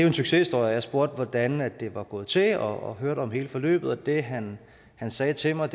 en succeshistorie og jeg spurgte hvordan det var gået til og hørte om hele forløbet og det han han sagde til mig